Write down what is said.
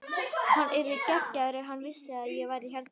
Hann yrði geggjaður ef hann vissi að ég var hérna.